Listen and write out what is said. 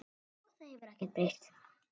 Og það hefur ekkert breyst.